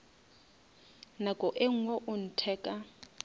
nako e ngwe o ntheka